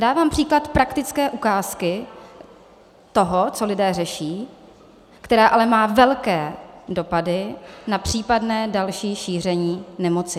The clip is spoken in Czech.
Dávám příklad praktické ukázky toho, co lidé řeší, která ale má velké dopady na případné další šíření nemoci.